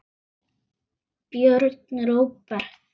Björn Róbert.